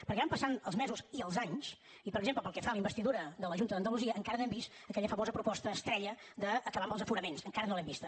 perquè van passant els mesos i els anys i per exemple pel que fa a la investidura de la junta d’andalusia encara no hem vist aquella famosa proposta estrella d’acabar amb els aforaments encara no l’hem vista